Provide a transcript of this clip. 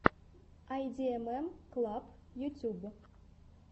айдиэмэм клаб ютуб